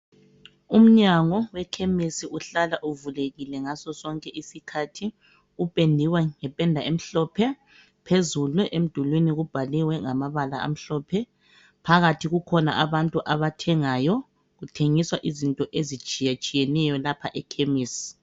Umnyango wekhemisi uhlala uvulekile ngaso sonke isikhathi uphendiwe ngependa emhlophe phezulu emdulini kubhaliwe ngamabala amhlophe phakathi kukhona abantu abathengayo kuthengiswa izinto ezitshiyetshiyeneyo lapha ekhemisi.